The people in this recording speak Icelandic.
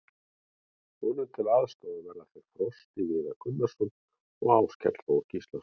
Honum til aðstoðar verða þeir Frosti Viðar Gunnarsson og Áskell Þór Gíslason.